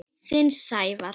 Þinn, Sævar.